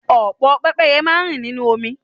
Ọ̀pọ̀ pẹ́pẹ́ye máa rìn nínú omi.